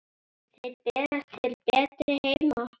Þeir berast til betri heima.